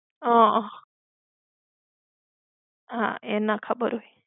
હમ્મ. હા એ ના ખબર હોય.